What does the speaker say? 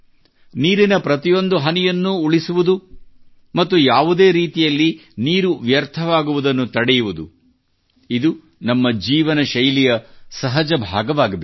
ನೀರಿನ ಪ್ರತಿಯೊಂದು ಹನಿಯನ್ನೂ ಉಳಿಸುವುದು ಮತ್ತು ಯಾವುದೇ ರೀತಿಯಲ್ಲಿ ನೀರು ವ್ಯರ್ಥವಾಗುವುದನ್ನು ತಡೆಯುವುದು ಇದು ನಮ್ಮ ಜೀವನ ಶೈಲಿಯ ಸಹಜ ಭಾಗವಾಗಬೇಕು